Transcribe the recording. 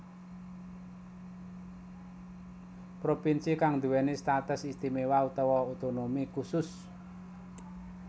Propinsi kang duwéni status istiméwa utawa otonomi khusus